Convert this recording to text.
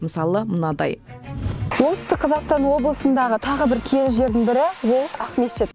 мысалы мынадай оңтүстік қазақстан облысындағы тағы бір киелі жердің бірі ол ақмешіт